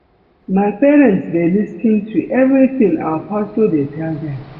My parents dey lis ten to everything our pastor dey tell dem